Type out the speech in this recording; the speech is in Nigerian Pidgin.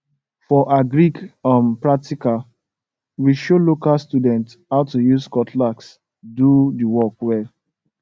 for agric um practical we show local students how to use cutlass do di work well